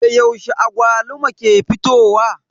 Da yaushe agwaluma ke fitowa?